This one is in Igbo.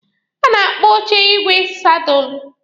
A na-akpọ oche igwe sadụlụ.